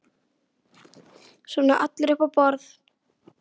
Svona allir upp á borð